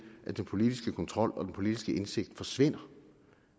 at den politiske kontrol og den politiske indsigt forsvinder